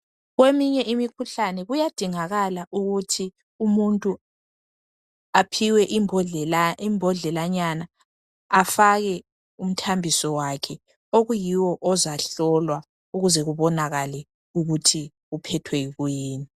Kweminye imikhuhlane kuyadingakala ukuthi umuntu aphiwe imbondlelanyana afake umthambiso wakhe okuyiwo ozahlolwa ukuze kubonakale ukuthi uphethwe yikuyini.